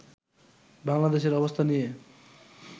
বাংলাদেশের অবস্থা নিয়ে